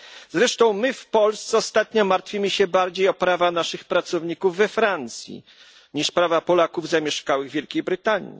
Zresztą my w Polsce ostatnio martwimy się bardziej o prawa naszych pracowników we Francji niż prawa Polaków zamieszkałych w Wielkiej Brytanii.